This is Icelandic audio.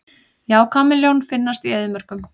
Já, kameljón finnast í eyðimörkum.